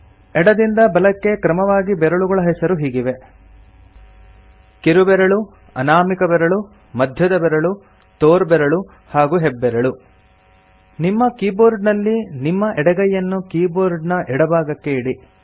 ಎಡದಿಂದ ಬಲಕ್ಕೆ ಕ್ರಮವಾಗಿ ಬೆರಳುಗಳ ಹೆಸರು ಹೀಗಿವೆ ಕಿರುಬೆರಳು ಅನಾಮಿಕ ಬೆರಳು ಮಧ್ಯದ ಬೆರಳು ತೋರ್ಬೆರಳು ಹಾಗೂ ಹೆಬ್ಬೆರಳು ನಿಮ್ಮ ಕೀಬೋರ್ಡನಲ್ಲಿ ನಿಮ್ಮ ಎಡಗೈಯನ್ನು ಕೀಬೋರ್ಡಿನ ಎಡಭಾಗಕ್ಕೆ ಇಡಿ